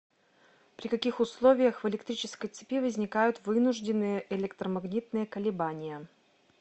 при каких условиях в электрической цепи возникают вынужденные электромагнитные колебания